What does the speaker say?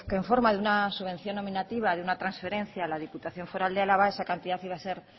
que en forma de una subvención nominativa de una transferencia a la diputación foral de álava esa cantidad iba a ser